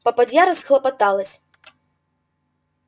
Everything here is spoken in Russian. попадья расхлопоталась